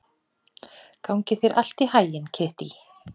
Gangi þér allt í haginn, Kittý.